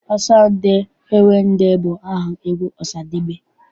Ọsọ ndị owe ndị bụ aha egwu Ọsadebe.